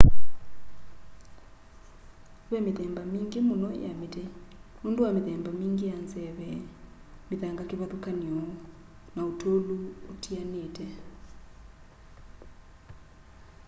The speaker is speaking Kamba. ve mithemba mingi muno ya miti nundu wa mithemba mingi ya nzeve mithanga kivathukany'o na utulu utianite